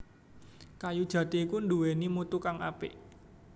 Kayu jati iku nduwèni mutu kang apik